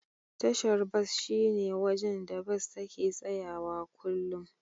Tashar bas shine wajen da Bas take tsayawa kullum.